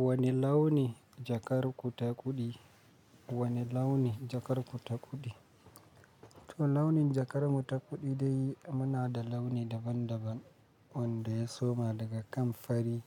Wane launi jakar ku ta kuɗi? Wane launi jakar ku ta kuɗi? To launin jakar mu ta kuɗi dai muna da launi daban daban wanda ya soma daga kan fari